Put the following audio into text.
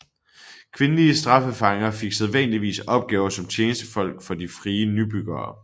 Kvindelige straffefanger fik sædvanligvis opgaver som tjenestefolk for de frie nybyggere